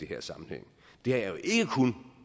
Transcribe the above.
her sammenhæng